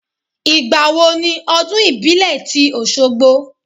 Ìgbà wo ni ọdún ìbílẹ̀ tí Oṣogbo?